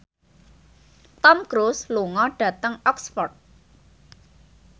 Tom Cruise lunga dhateng Oxford